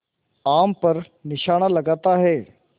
आम पर निशाना लगाता है